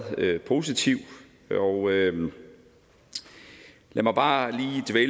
positive og lad mig bare